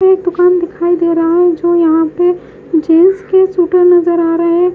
एक दुकान दिखाई दे रहा है जो यहां पे नजर आ रहे--